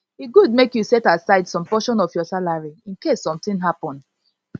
e good make u set aside some portion of your salary incase something happen